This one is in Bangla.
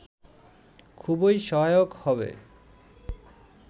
খুবই সহায়ক হবে